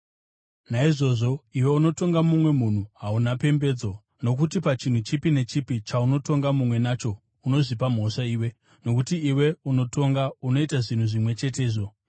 Naizvozvo, iwe unotonga mumwe munhu hauna pembedzo, nokuti pachinhu chipi nechipi chaunotonga mumwe nacho, unozvipa mhosva iwe, nokuti iwe unotonga, unoita zvinhu zvimwe chetezvo.